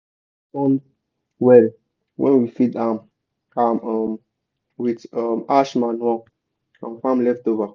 soil dey um respond well when we feed am am um with um ash manure and farm leftover.